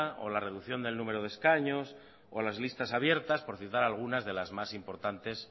o la reducción del número de escaños o las listas abiertas por citar algunas de las más importantes